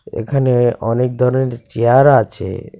এখানে অনেক ধরনের চেয়ার আছে.